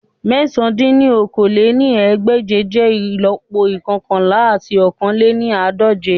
Mẹ̀sán dín ní okòó-lé-ní-ẹgbẹ́je jẹ ìlọ́po ikọkanla ati ọ̀kan lé ní àádọ́je